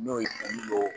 N'o ye